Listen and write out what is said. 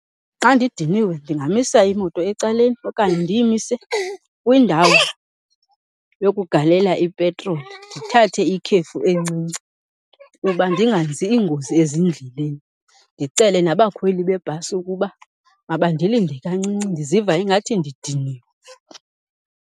Xa ndidiniwe ndingamisa imoto ecaleni okanye ndiyimise kwindawo yokugalela ipetroli ndithathe ikhefu encinci kuba ndingenzi iingozi ezindleleni, ndicele nabakhweli bebhasi ukuba mabandilinde kancinci ndiziva ingathi ndidiniwe.